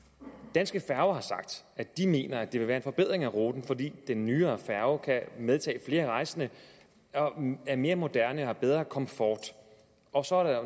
danske færger har sagt at de mener at det vil være en forbedring af ruten fordi den nyere færge kan medtage flere rejsende og er mere moderne og har bedre komfort og så er